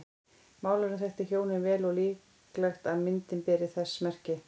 Málarinn þekkti hjónin vel og er líklegt að myndin beri þess merki.